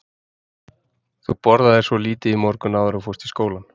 Þú borðaðir svo lítið í morgun áður en þú fórst í skólann.